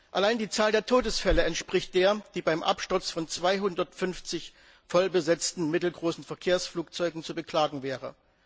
Allein die Zahl der Todesfälle entspricht der, die beim Absturz von 250 voll besetzten mittelgroßen Verkehrsflugzeugen zu beklagen wäre.